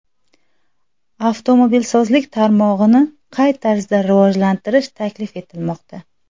Avtomobilsozlik tarmog‘ini qay tarzda rivojlantirish taklif etilmoqda?